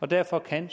og derfor kan